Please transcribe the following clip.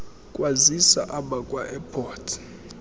kwazisa abakwa airports